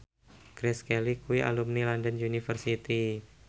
Grace Kelly kuwi alumni London University